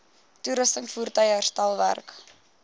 toerusting voertuie herstelwerk